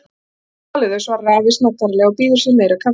Ég hef ekki talið þau, svarar afi snaggaralega og býður sér meira kaffi.